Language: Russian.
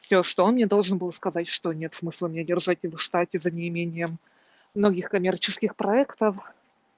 всё что он мне должен был сказать что нет смысла мне держать его в штате за неимением многих коммерческих проектов